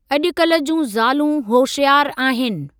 अजॼुकल्ह जूं ज़ालू होशियार आहिनि।